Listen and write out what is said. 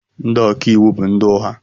Ndị ọka iwu bụ ndị ụgha